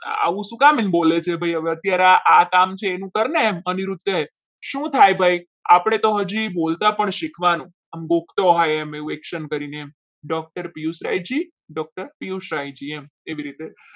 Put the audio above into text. આવું શું કામ એમ બોલે છે ભાઈ અત્યારે આ કામ છે એનું કંઈ કરને અનિરુદ્ધ કહે શું થાય ભાઈ આપણે તો હજુ બોલતા પણ શીખવાનું આમ બોલતો હોય આ message કરીને doctor પિયુષ કહે છે doctor પિયુષ રજી એવી રીતે